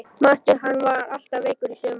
Manstu hann var alltaf veikur í sumar?